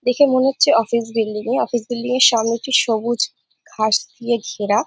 দেখে মনে হচ্ছে অফিস বিল্ডিং এ অফিস বিল্ডিং এর সামনে কি সবুজ ঘাস দিয়ে ঘেরা --